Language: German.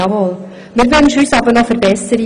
Wir wünschen uns aber Verbesserungen.